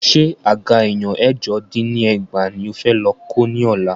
Ṣé àga èèyàn ẹ̀jọ dín ní ẹgbàá ní o fẹ́ lọ kó ní ọ̀la?